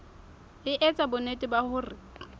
e etsa bonnete ba hore